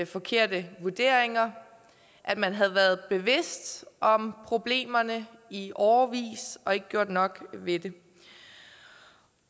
forkerte vurderinger at man havde været bevidst om problemerne i årevis og ikke gjort nok ved det